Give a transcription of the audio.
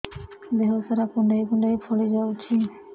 ଦେହ ସାରା କୁଣ୍ଡାଇ କୁଣ୍ଡାଇ ଫଳି ଯାଉଛି